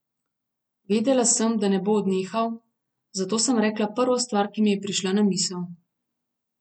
Vedela sem, da ne bo odnehal, zato sem rekla prvo stvar, ki mi je prišla na misel.